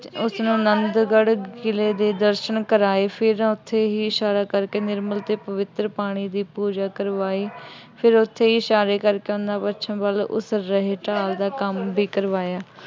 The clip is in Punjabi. ਉਸਨੂੰ ਆਨੰਦਗੜ੍ਹ ਕਿਲ੍ਹੇ ਦੇ ਦਰਸ਼ਨ ਕਰਾਏ। ਫਿਰ ਉੱਥੇ ਹੀ ਇਸ਼ਾਰਾ ਕਰਕੇ ਨਿਰਮਲ ਅਤੇ ਪਵਿੱਤਰ ਪਾਣੀ ਦੀ ਪੂਜਾ ਕਰਵਾਈ। ਫਿਰ ਉੱਥੇ ਹੀ ਇਸ਼ਾਰੇ ਕਰਕੇ ਉਹਨਾ ਪੱਛਮ ਵੱਲ ਉਸਰ ਰਹੇ ਢਾਲ ਦਾ ਕੰਮ ਵੀ ਕਰਵਾਇਆ।